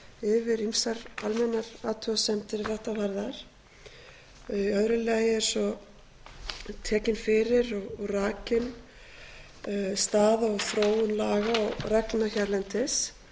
yfir ýmsar almennar athugasemdir er þetta varðar í öðru alla er svo tekin fyrir og rakin staða og þróun laga og reglna hérlendis